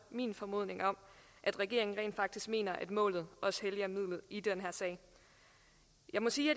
min formodning om at regeringen rent faktisk mener at målet helliger midlet i den her sag jeg må sige at